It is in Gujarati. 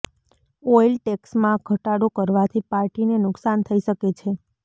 ઓઇલ ટેક્સમાં ઘટાડો કરવાથી પાર્ટીને નુકસાન થઇ શકે છે